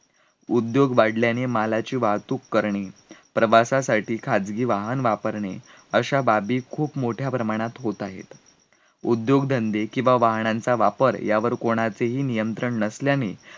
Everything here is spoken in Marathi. उद्योग वाढल्याने मालाची वाहतूक करणे प्रवासासाठी खाजगी वाहन वापरणे अश्या बाबी खूप मोठ्या प्रमाणात होत आहेत, उद्योगधंदे किवा वाहनांचा वापर यावर कोणाचेही नियंत्रण नसल्याने,